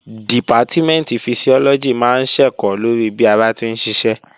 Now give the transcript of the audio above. Dìpátímẹ̀ntì Fisiọ́lọ́gì máa ń ṣẹ̀kọ́ lórí bí ara ti ń ṣiṣẹ́